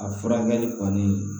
A furakɛli kɔni